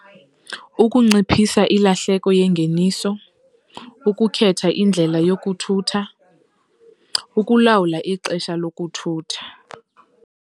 Ukunciphisa ilahleko yengeniso, ukukhetha indlela yokuthutha, ukulawula ixesha lokuthutha.